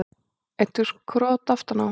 Eitthvert krot aftan á.